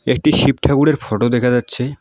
একটি শিব ঠাকুরের ফটো দেখা যাচ্ছে।